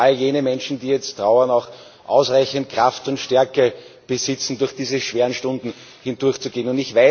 Mögen all jene Menschen, die jetzt trauern, auch ausreichend Kraft und Stärke besitzen, durch diese schweren Stunden hindurchzugehen.